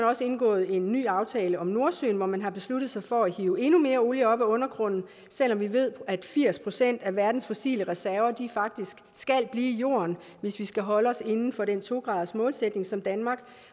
også indgået en ny aftale om nordsøen hvor man har besluttet sig for at hive endnu mere olie op af undergrunden selv om vi ved at firs procent af verdens fossile reserver faktisk skal blive i jorden hvis vi skal holde os inden for den to gradersmålsætning som danmark